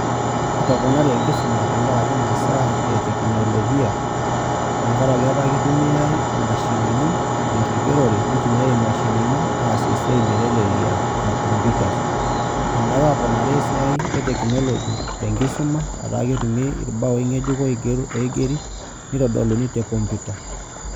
Etoponari enkisuma tenkaraki imasaa e teknolojia tenkaraki etaa kitumiai imashinini tenkigerore nitumiai imashinini aasie esiai metelelia aa computers inyiaka aponari esiai e technology te enkisuma etaa kitumiai irbaoi ng'ejuko oigeri nitodoluni te computuer.